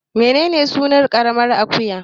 Menene sunan ƙaramar akuya